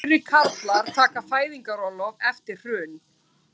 Færri karlar taka fæðingarorlof eftir hrun